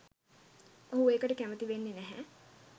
ඔහු ඒකට කැමති වෙන්නේ නැහැ.